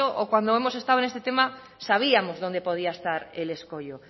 o cuando hemos estado en este tema sabíamos dónde podía estar el escoyo